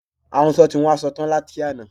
Ahunsọ ti hun asọ tán láti àná